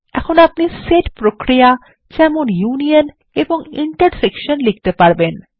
এখন আপনি সেট প্রক্রিয়া যেমন ইউনিয়ন এবং ইন্টারসেকশন লিখতে পারবেন